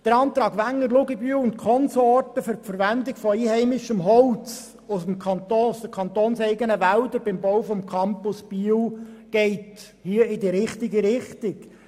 Der Antrag Wenger, Luginbühl und Konsorten für die Verwendung von einheimischem Holz aus den kantonseigenen Wäldern für den Campus Biel geht in die richtige Richtung.